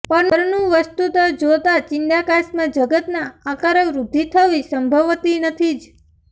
પરનું વસ્તુતઃ જોતાં ચિદાકાશમાં જગતના આકારે વૃદ્ધિ થવી સંભવતી નથી જ